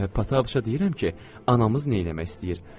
"Pataşaya deyirəm ki, anamız neyləmək istəyir.